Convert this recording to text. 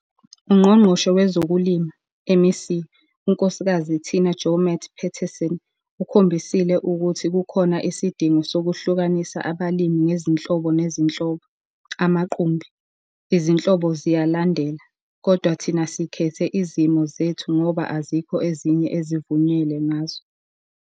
UNgqongqoshe Wezokulima, MEC, uKs Tina Joemat-Pettersson ukhombisile ukuthi kukhona isidingo sokuhlukanisa abalimi ngezinhlobo nezinhlobo, amaqumbi. Izinhlobo ziyalandela, kodwa thina sikhethe izimo zethu ngoba azikho ezinye ezivunyelwe ngazo.